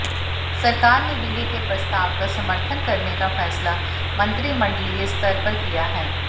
सरकार ने विलय के प्रस्ताव का समर्थन करने का फैसला मंत्रिमंडलीय स्तर पर किया है